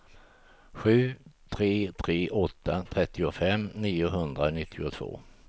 sju tre tre åtta trettiofem niohundranittiotvå